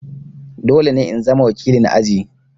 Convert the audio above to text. Dole ne in zama wakilin aji!